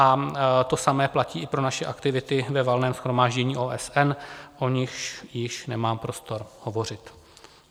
A to samé platí i pro naše aktivity ve Valném shromáždění OSN, o nichž již nemám prostor hovořit.